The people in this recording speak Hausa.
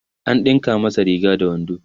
an ɗinka masa Riga da wando